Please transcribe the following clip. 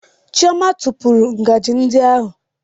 Chioma tụpụrụ ngaji ndị ahụ